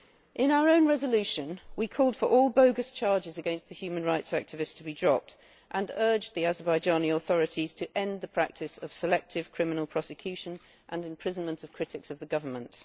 In our own resolution we call for all bogus charges against the human rights activists to be dropped and urge the Azerbaijani authorities to end the practice of selected criminal prosecution and imprisonment of critics of the government.